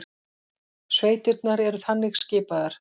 Sveitirnar eru þannig skipaðar